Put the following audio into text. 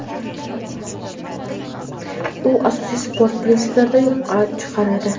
U asosiy sport prinsiplarini yo‘qqa chiqaradi.